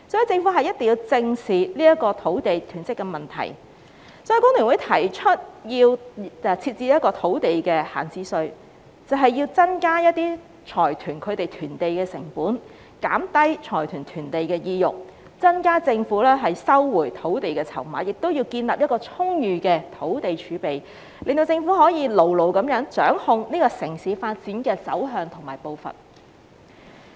政府一定要正視土地囤積的問題，所以工聯會提出設置土地閒置稅，增加財團囤地的成本，減低財團囤地的意欲，增加政府收回土地的籌碼，亦要建立充裕的土地儲備，令政府可以牢牢地掌控城市發展的走向和步伐。